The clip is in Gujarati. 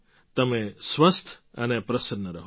તમે સ્વસ્થ અને પ્રસન્ન રહો